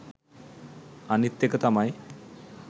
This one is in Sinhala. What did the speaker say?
අනිත් එක තමයි